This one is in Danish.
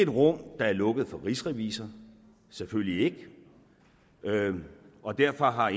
rum der er lukket for rigsrevisor selvfølgelig ikke og derfor har